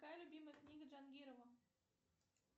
какая любимая книга джангирова